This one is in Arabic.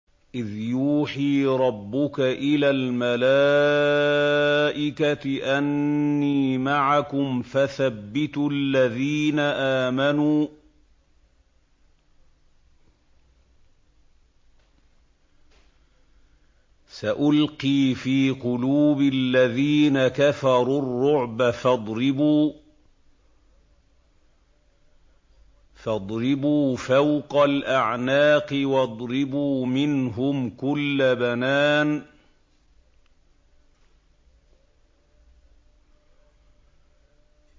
إِذْ يُوحِي رَبُّكَ إِلَى الْمَلَائِكَةِ أَنِّي مَعَكُمْ فَثَبِّتُوا الَّذِينَ آمَنُوا ۚ سَأُلْقِي فِي قُلُوبِ الَّذِينَ كَفَرُوا الرُّعْبَ فَاضْرِبُوا فَوْقَ الْأَعْنَاقِ وَاضْرِبُوا مِنْهُمْ كُلَّ بَنَانٍ